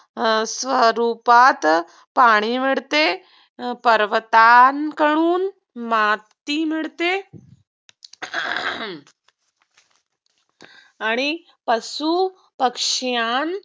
स्वरूपात पाणी मिळते पर्वतांकडून माती मिळते आणि पशु पक्षयांन